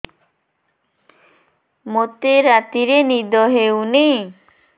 ମୋତେ ରାତିରେ ନିଦ ହେଉନି